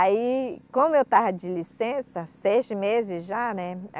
Aí, como eu estava de licença, seis meses já, né?